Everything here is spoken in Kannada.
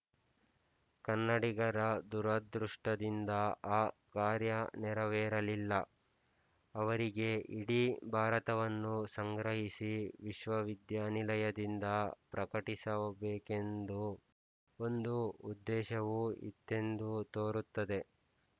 ಕನ್ನಡಿಗರ ದುರದೃಷ್ಟದಿಂದ ಆ ಕಾರ್ಯ ನೆರವೇರಲಿಲ್ಲ ಅವರಿಗೆ ಇಡೀ ಭಾರತವನ್ನು ಸಂಗ್ರಹಿಸಿ ವಿಶ್ವವಿದ್ಯಾನಿಲಯದಿಂದ ಪ್ರಕಟಿಸಬೇಕೆಂದು ಒಂದು ಉದ್ದೇಶವೂ ಇತ್ತೆಂದು ತೋರುತ್ತದೆ